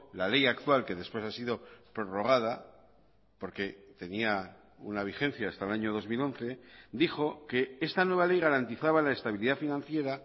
la ley actual que después ha sido prorrogada porque tenía una vigencia hasta el año dos mil once dijo que esta nueva ley garantizaba la estabilidad financiera